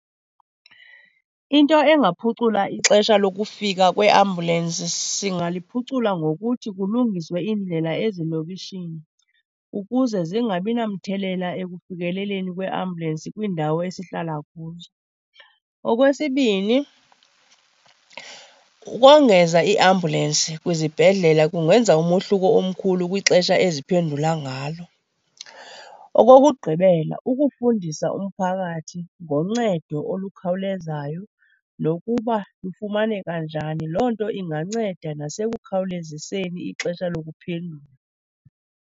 Into engaphucula ixesha lokufika kweambulensi singaliphucula ngokuthi kulungiswe iindlela ezilokishini ukuze zingabi namthelela ekufikeleleni kweeambulensi kwiindawo esihlala kuzo. Okwesibini, ukongeza iiambulensi kwizibhedlele, kungenza umohluko omkhulu kwixesha eziphendula ngalo. Okokugqibela, ukufundisa umphakathi ngoncedo olukhawulezayo nokuba lufumaneka njani. Loo nto inganceda nasekukhawuleziseni ixesha lokuphendula.